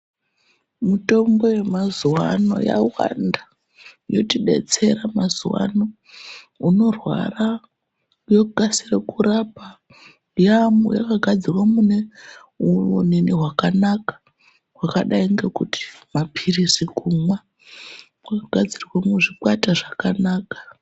Mitombo yemazuwa ano yawanda ,yotidetsera mazuwaano .Unorwara yokasire kurapa. Yaamu yakagadzirwe mune yonini hwakanaka ,hwakadai ngekuti maphirizi kumwa, yakagadzirwa muzvikwata zvakanaka.